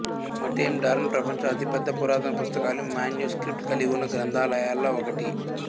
Matenadaran ప్రపంచంలోని అతిపెద్ద పురాతన పుస్తకాలు మాన్యుస్క్రిప్ట్ కలిగివున్న గ్రంథాలయాలలో ఒకటి